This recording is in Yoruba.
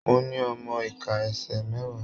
Mo ní ọmọ ika ẹsẹ mẹwa.